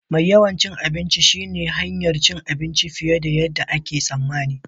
Mai yawan cin abinci shine hanyar cin abinci fiye da yadda ake tsammani.